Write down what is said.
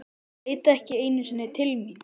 Leit ekki einu sinni til mín.